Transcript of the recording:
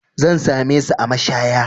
Zan same su a mashaya.